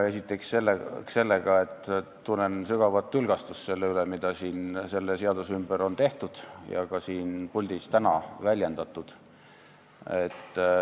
Esiteks, ma tunnen sügavat tülgastust selle pärast, mis siin selle seaduse ümber on sündinud ja mida täna ka siin puldis on väljendatud.